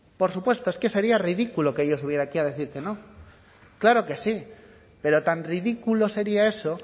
por supuesto es que sería ridículo que yo subiera aquí a decir que no claro que sí pero tan ridículo sería eso